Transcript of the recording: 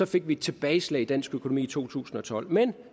fik vi et tilbageslag i dansk økonomi i to tusind og tolv men